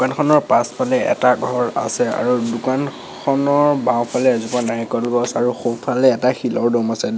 দোকানখনৰ পাছফালে এটা ঘৰ আছে আৰু দোকানখনৰ বাওঁফালে এজোপা নাৰিকল গছ আৰু সোঁফালে এটা শিলৰ দম আছে।